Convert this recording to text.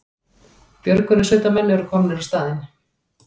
Björgunarsveitarmenn eru komnir á staðinn